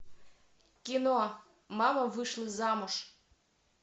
кино мама вышла замуж